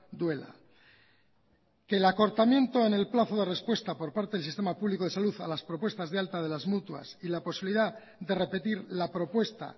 duela que el acortamiento en el plazo de respuesta por parte del sistema público de salud a las propuestas de alta de las mutuas y la posibilidad de repetir la propuesta